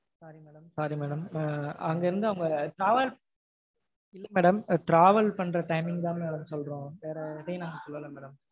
sorry madam. Ah அங்க இருந்து travel பண்ணுற madam travel பண்ற time ங்தா madam சொல்றோம். வேற எதையும் நாங்க சொல்லல madam.